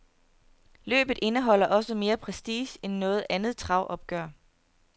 Løbet indeholder også mere prestige end noget andet travopgør.